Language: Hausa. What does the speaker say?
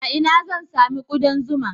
A ina zan sami ƙudan zuma?